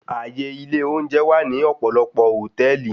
Àyè ilé oúnjẹ wà ní ọ̀pọ̀lọpọ̀ hòtẹ́ẹ̀lì.